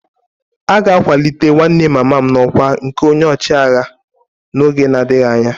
A ga-akwalite nwanne mama m n'ọkwá nke onye ọchịagha n'oge na-adịghị anya